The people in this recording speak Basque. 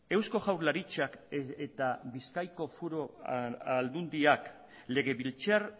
eusko jaurlaritzak eta bizkaiko foru aldundiak legebiltzar